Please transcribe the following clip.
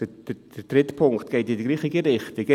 – Der dritte Punkt geht in die gleiche Richtung.